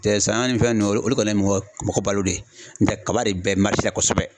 Tɛ saɲɔ ni fɛn nunnu o de kadi mɔgɔ balo de ye n tɛ kaba de bɛ marise la kosɛbɛ